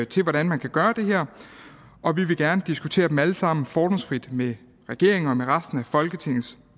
til hvordan man kan gøre det her og vi vil gerne diskutere dem alle sammen fordomsfrit med regeringen og med resten af folketingets